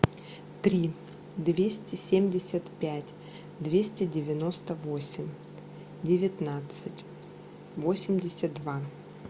три двести семьдесят пять двести девяносто восемь девятнадцать восемьдесят два